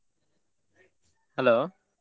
Hello.